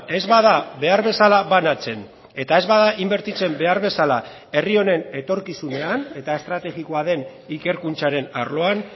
ez bada behar bezala banatzen eta ez bada inbertitzen behar bezala herri honen etorkizunean eta estrategikoa den ikerkuntzaren arloan